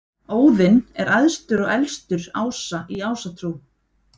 óðinn er æðstur og elstur ása í ásatrú